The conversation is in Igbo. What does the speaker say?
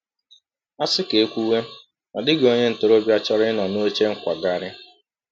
“A sị ka e kwuwe, ọ dịghị onye ntorobịa chọrọ ịnọ n’oche nkwagharị.